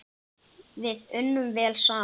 Við unnum vel saman.